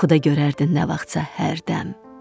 Yuxuda görərdin nə vaxtsa hərdəm.